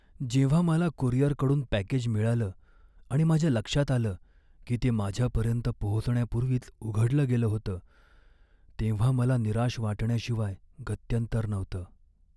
जेव्हा मला कुरिअरकडून पॅकेज मिळालं आणि माझ्या लक्षात आलं की ते माझ्यापर्यंत पोहोचण्यापूर्वीच उघडलं गेलं होतं, तेव्हा मला निराश वाटण्याशिवाय गत्यंतर नव्हतं.